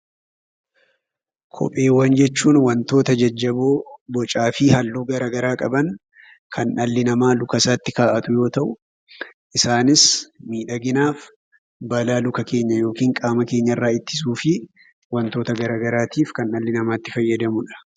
Kopheewwan jechuun wantoota jajjaboo bocaa fi halluu gara garaa qaban kan dhalli namaa lukasaatti kaa'atu yoo ta'u isaanis : miidhaginaaf, balaa luka keenya yookin qaama keenyarraa ittisuufii wantoota garaa garaatiif kan dhalli namaa itti fayyadamudha.